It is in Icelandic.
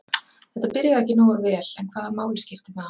Þetta byrjaði ekki alveg nógu vel en hvaða máli skiptir það?